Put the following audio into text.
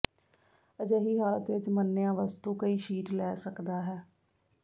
ਅਜਿਹੀ ਹਾਲਤ ਵਿਚ ਮੰਨਿਆ ਵਸਤੂ ਕਈ ਸ਼ੀਟ ਲੈ ਸਕਦਾ ਹੈ